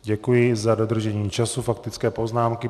Děkuji za dodržení času faktické poznámky.